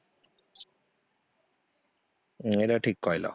ହୁଁ ଏଟା ଠିକ କହିଲ